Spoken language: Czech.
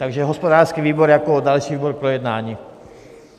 Takže hospodářský výbor jako další výbor k projednání.